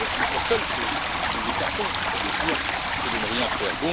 La seule que nous écartons si j'ose dire c'est celle de ne rien faire.